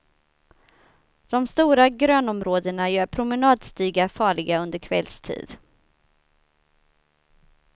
De stora grönområdena gör promenadstigar farliga under kvällstid.